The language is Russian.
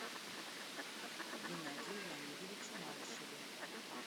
геннадию леонидовичу малышеву